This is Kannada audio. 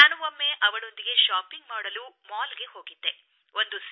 ನಾನು ಒಮ್ಮೆ ಅವಳೊಂದಿಗೆ ಶಾಪಿಂಗ್ ಮಾಡಲು ಮಾಲ್ಗೆ ಹೋಗಿದ್ದೆ